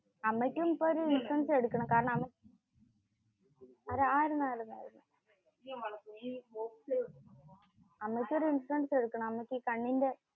അമ്മയ്ക്കും ഇപ്പോ ഒരു ഇൻഷുറൻസ് എടുക്കണം. കാരണം അമ്മയ്‌ക്ക ഈ കണ്ണിന്റെ.